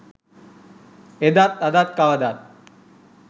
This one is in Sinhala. එදත් අදත් කවදත්